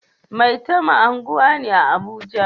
Maitama unguwa ne a Abuja